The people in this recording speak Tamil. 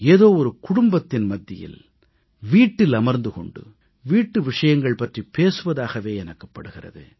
ஏதோ குடும்பத்தின் மத்தியில் வீட்டில் அமர்ந்து கொண்டு வீட்டு விஷயங்கள் பற்றிப் பேசுவதாகவே எனக்குப் படுகிறது